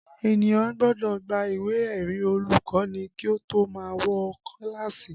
Ènìyàn gbọ́dọ̀ gba ìwé ẹ̀rí olùkọ́ni kí ó tó má wọ kíláàsì